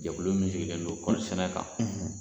Jɛkulu min sigilen don kɔɔrisɛnɛ kan